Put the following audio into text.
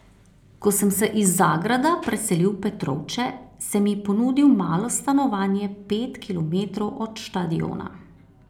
Ko sem se iz Zagrada preselil v Petrovče, sem ji ponudil malo stanovanje pet kilometrov od štadiona.